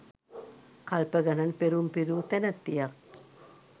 කල්ප ගණන් පෙරුම් පිරූ තැනැත්තියක්.